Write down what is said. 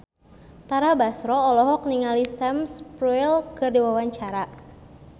Tara Basro olohok ningali Sam Spruell keur diwawancara